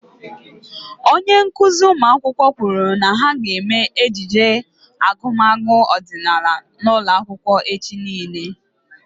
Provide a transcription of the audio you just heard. Onye nkụzi ụmụaka kwụrụ na ha ga eme ejije agumagu ọdịnala n'ụlọ akwụkwọ echi niile